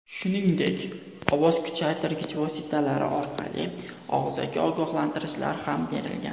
Shuningdek, ovoz kuchaytirgich vositalar orqali og‘zaki ogohlantirishlar ham berilgan.